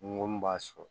Ni n ko min b'a sɔrɔ